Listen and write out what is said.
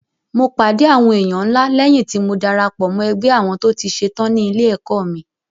Mo pàdé àwọn èèyàn ńlá léyìn tí mo darapọ̀ mọ́ ẹgbẹ́ àwọn tó ti ṣe tán ní ilé-ẹ̀kọ́ mi.